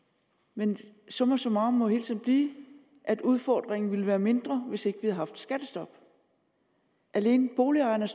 men summa summarum må hele tiden blive at udfordringen ville være mindre hvis ikke vi havde haft skattestoppet alene boligejerne